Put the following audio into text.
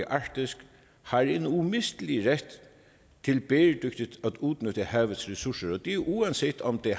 arktis har en umistelig ret til bæredygtigt at udnytte havets ressourcer og det er uanset om det